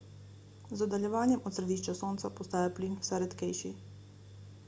z oddaljevanjem od središča sonca postaja plin vse redkejši